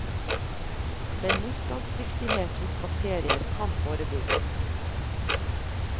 Men motstandsdyktighet hos bakterier kan forebygges.